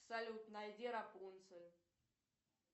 салют найди рапунцель